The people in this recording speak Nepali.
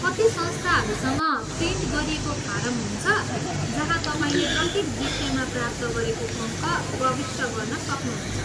कति संस्थाहरूसँग प्रिन्ट गरिएको फारम हुन्छ जहाँ तपाईँले प्रत्येक विषयमा प्राप्त गरेको अङ्क प्रविष्ट गर्न सक्नुहुन्छ।